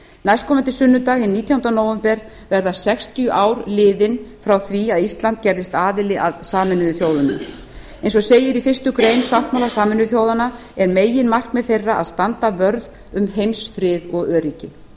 næstkomandi sunnudag hinn nítjánda nóvember verða sextíu ár liðin frá því að ísland gerðist aðili að sameinuðu þjóðunum eins og segir í fyrstu grein sáttmála sameinuðu þjóðanna er meginmarkmið þeirra að standa vörð um heimsfrið og öryggi